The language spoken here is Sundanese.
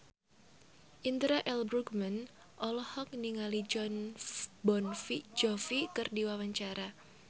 Indra L. Bruggman olohok ningali Jon Bon Jovi keur diwawancara